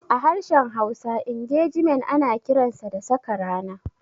A harshen Hausa, Ingejimen ana kiransa da "Saka rana".